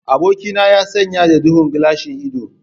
Abokina ya sanye da duhun gilashin ido.